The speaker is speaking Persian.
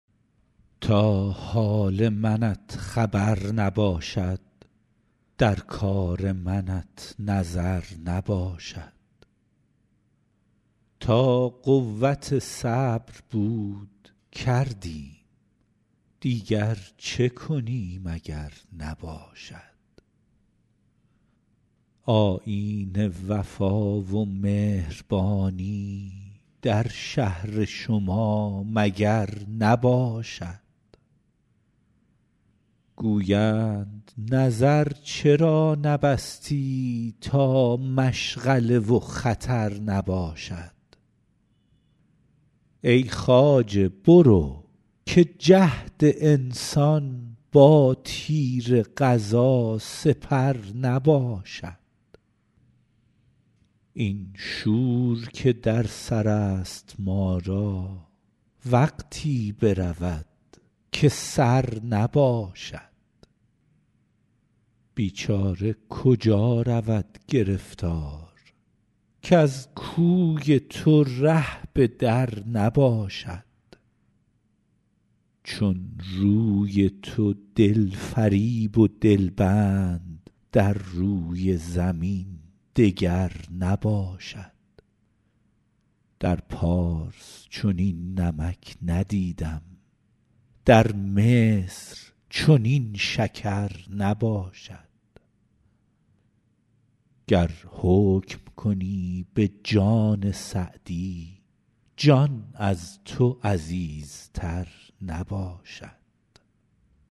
تا حال منت خبر نباشد در کار منت نظر نباشد تا قوت صبر بود کردیم دیگر چه کنیم اگر نباشد آیین وفا و مهربانی در شهر شما مگر نباشد گویند نظر چرا نبستی تا مشغله و خطر نباشد ای خواجه برو که جهد انسان با تیر قضا سپر نباشد این شور که در سر است ما را وقتی برود که سر نباشد بیچاره کجا رود گرفتار کز کوی تو ره به در نباشد چون روی تو دل فریب و دل بند در روی زمین دگر نباشد در پارس چنین نمک ندیدم در مصر چنین شکر نباشد گر حکم کنی به جان سعدی جان از تو عزیزتر نباشد